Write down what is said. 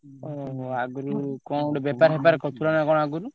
ଓହୋ! ଆଗୁରୁ କଣ ଗୋଟେ ବେପାର ଫେପାର କରୁଥିଲ ନା କଣ ଆଗୁରୁ?